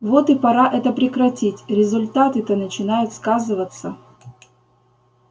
вот и пора это прекратить результаты то начинают сказываться